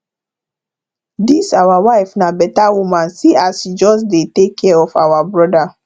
dis our wife na beta woman see as she just dey take care of our broda